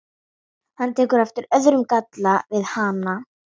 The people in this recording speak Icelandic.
Hann tekur eftir öðrum galla við hana.